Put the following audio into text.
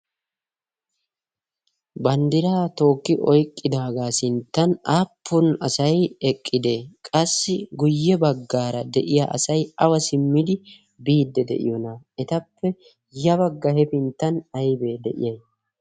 bandiraa tooki eqqidaaga sintan aapun asay eqqidee? qassi guye bagaara deiya aay awa simmidi biidi de'ii? etappe ya bagara aybbi de'ii?